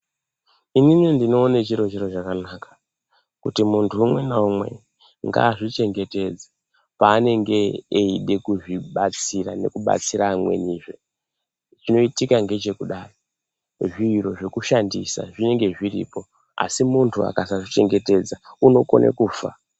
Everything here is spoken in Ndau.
inini ndinoone chiri chiro chakanaka, kuti munthu umwe naumwe ngaazvichengetedze, paanenge eide kuzvibatsira nekubatsira amwenizve. Chinoitika ngechekudai, zviro zvinoshandisa zvinenge zviripo asi munthu akasazvichengetedza unokone kufa.